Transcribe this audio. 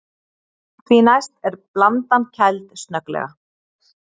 Því næst er blandan kæld snögglega.